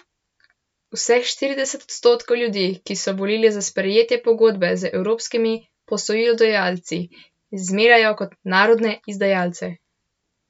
Vseh štirideset odstotkov ljudi, ki so volili za sprejetje pogodbe z evropskimi posojilodajalci, zmerjajo kot narodne izdajalce.